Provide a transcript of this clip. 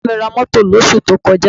Bàbá mi ra mọ́tò lósù tí ó kọjá